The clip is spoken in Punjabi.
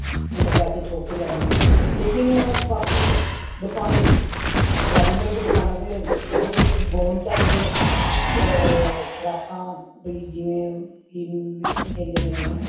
ਓਹਨੇ ਪੈਸੇ ਠੋਕ ਕ ਲੈਣੇ ਨੇ ਲੇਕਿਨ ਬਾਕੀ ਦੁਕਾਨ ready-made ਦੁਕਾਨਾਂ ਤੇ ਜਿਹੋ ਜੇ ਤੁਸੀ gown ਚਾਹੰਦੇਓ ਅ frock ਬਇ ਜਿਵੇਂ ਕਿ ਕਿ ਕਹਿੰਦੇ ਨੇ ਉਹਨਾਂ ਨੂੰ